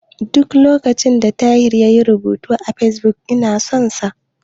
Duk lokacin da Tahir yayi rubutu a Fesbuk, ina son sa.